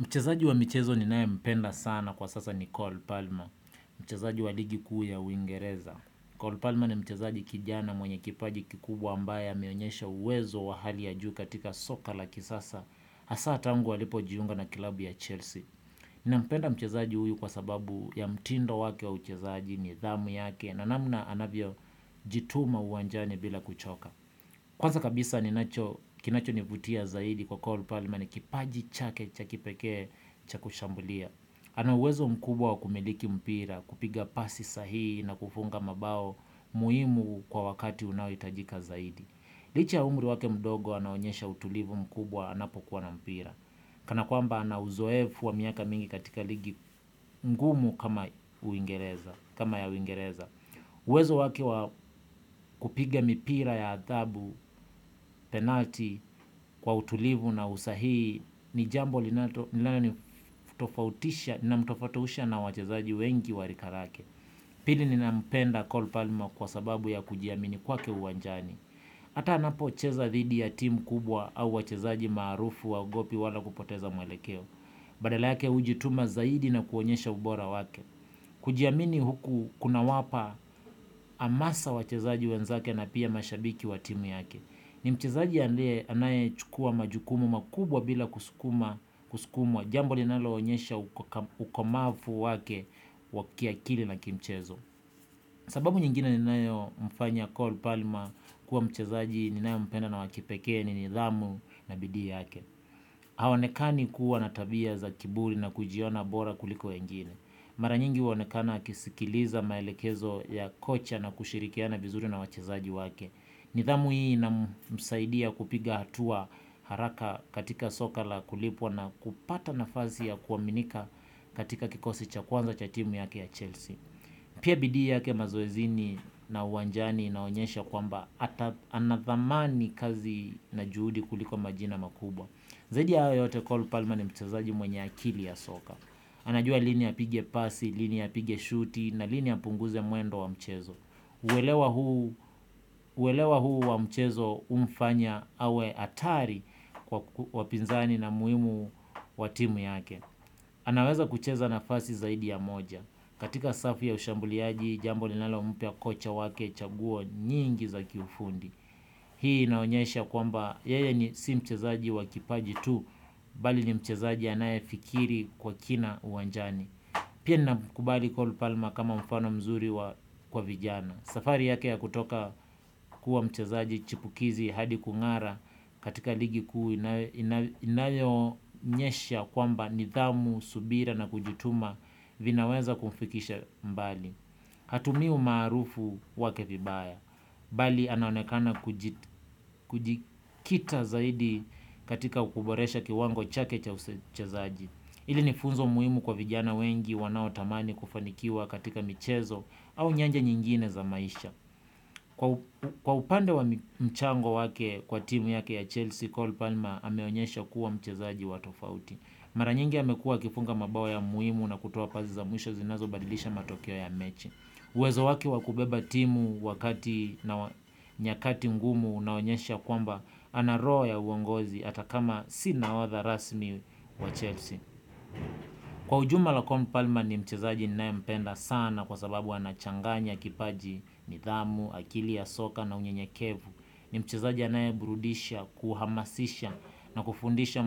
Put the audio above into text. Mchezaji wa michezo ninaye mpenda sana kwa sasa ni cole Palmer. Mchezaji wa ligi kuu ya uingereza. Nicole Palmer ni mchezaji kijana mwenye kipaji kikubwa ambaye ameonyesha uwezo wa hali ya juu katika soka la kisasa. Hasa tangu alipojiunga na klabu ya Chelsea. Ninampenda mchezaji huyu kwa sababu ya mtindo wake wa uchezaji nidhamu yake na namna anavyo jituma uwanjani bila kuchoka. Kwanza kabisa kinachonivutia zaidi kwa call parlmer ni kipaji chake cha kipekee cha kushambulia. Ana uwezo mkubwa wa kumiliki mpira kupiga pasi sahi na kufunga mabao muhimu kwa wakati unaohitajika zaidi. Licha ya umri wake mdogo anaonyesha utulivu mkubwa anapokuwa na mpira. Kana kwamba ana uzoefu wa miaka mingi katika ligi ngumu kama ya uingereza. Uwezo wake wa kupiga mipira ya adhabu, penalti, kwa utulivu na usahii ni jambo linalomtofautisha na wachezaji wengi wa rika lake. Pili ninampenda cole palmer kwa sababu ya kujiamini kwake uwanjani ata anapocheza dhidi ya timu kubwa au wachezaji maarufu haogopi wala kupoteza mwelekeo badala yake hujituma zaidi na kuonyesha ubora wake. Kujiamini huku kunawapa hamasa wachezaji wenzake na pia mashabiki wa timu yake. Ni mchezaji anaye chukua majukumu makubwa bila kusukuma. Jambo linalo onyesha ukomafu wake wa kiakili na kimchezo. Sababu nyingine ninayo mfanya cole palmer kuwa mchezaji ninayompenda na wakipekee ni nidhamu na bidii yake. Haonekani kuwa na tabia za kiburi na kujiona bora kuliko wengine. Mara nyingi huonekana akiskiliza maelekezo ya kocha na kushirikiana vizuri na wachezaji wake. Nidhamu hii inamsaidia kupiga hatua haraka katika soka la kulipwa na kupata nafasi ya kuaminika katika kikosi cha kwanza cha timu yake ya Chelsea. Pia bidii yake mazoezini na uwanjani inaonyesha kwamba ata anadhamani kazi na juhudi kuliko majina makubwa. Zaidi ya hayo yote cole palmer ni mchezaji mwenye akili ya soka. Anajua lini apigie pasi, lini apigie shuti na lini apunguze mwendo wa mchezo. Huelewa huu wa mchezo umfanya awe hatari kwa wapinzani na umuhimu wa timu yake. Anaweza kucheza nafasi zaidi ya moja. Katika safi ya ushambuliaji, jambo linalompa kocha wake chaguo nyingi za kifundi. Hii inaonyesha kwamba yeye ni si mchezaji wa kipaji tu, bali ni mchezaji anaye fikiri kwa kina uwanjani. Pia ninamkubali cole palma kama mfano mzuri kwa vijana. Safari yake ya kutoka kuwa mchezaji chipukizi hadi kungara katika ligi kuu inayoonyesha kwamba nidhamu, subira na kujituma vinaweza kumfikisha mbali. Hatumii umarufu wake vibaya, bali anaonekana kujikita zaidi katika kuboresha kiwango chake cha uchezaaji. Ili ni funzo muhimu kwa vijana wengi wanao tamani kufanikiwa katika michezo au nyanja nyingine za maisha. Kwa upande wa mchango wake kwa timu yake ya Chelsea, Cole Palmer ameonyesha kuwa mchezaaji wa tofauti. Maranyingi amekuwa akifunga mabao ya muhimu na kutoa pazi za mwisho zinazobadilisha matokeo ya mechi. Uwezo wake wa kubeba timu wakati na nyakati ngumu unaonyesha kwamba ana roho ya uongozi ata kama si nahodha rasmi wa Chelsea. Kwa ujumla Cole palmer ni mchezaji ninaye mpenda sana kwa sababu ana changanya kipaji nidhamu, akili ya soka na unyenyekevu. Ni mchezaji anaye burudisha, kuhamasisha na kufundisha